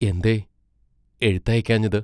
എന്തേ എഴുത്തയയ്ക്കാഞ്ഞത്?